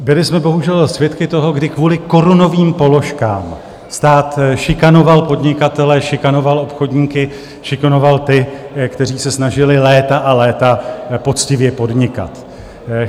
Byli jsme bohužel svědky toho, kdy kvůli korunovým položkám stát šikanoval podnikatele, šikanoval obchodníky, šikanoval ty, kteří se snažili léta a léta poctivě podnikat.